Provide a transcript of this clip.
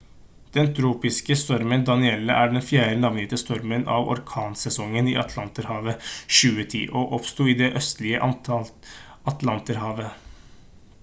den tropiske stormen danielle er den fjerde navngitte stormen av orkansesongen i atlanterhavet 2010 og oppsto i det østlige atlanterhavet